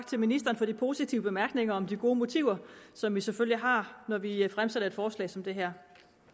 til ministeren for de positive bemærkninger om de gode motiver som vi selvfølgelig har når vi fremsætter et forslag som det her